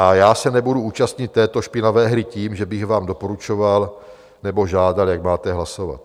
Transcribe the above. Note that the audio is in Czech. A já se nebudu účastnit této špinavé hry tím, že bych vám doporučoval nebo žádal, jak máte hlasovat.